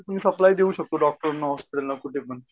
तुम्ही सप्लाय देऊ शकतो डॉक्टरला हॉस्पिटलला कुठेपण